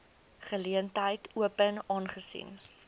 geleentheid open aangesien